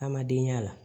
An ma deli a la